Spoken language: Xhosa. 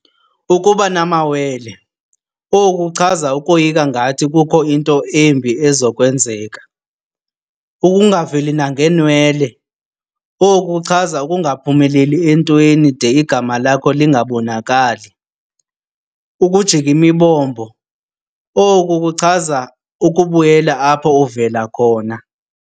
Ukuba namawele, oku kuchaza ukoyika ngathi kukho into embi ezokwenzeka. Ukungaveli nangeenwele, oku kuchaza ukungaphumeleli entweni de igama lakho lingabonakali. Ukujika imibombo, oku kuchaza ukubuyela apho uvela khona.